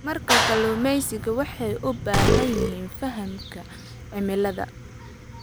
Marka kalluumeysiga, waxay u baahan yihiin fahamka cimilada.